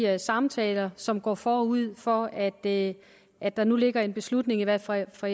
og samtaler som går forud for at at der nu ligger en beslutning i hvert fald fra